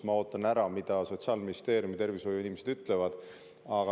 Ma ootan ära, mida Sotsiaalministeeriumi tervishoiuinimesed ütlevad.